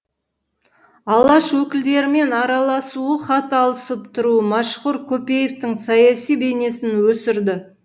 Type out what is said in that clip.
алаш өкілдерімен араласуы хат алысып тұруы мәшһүр көпеевтің саяси бейнесін өсірді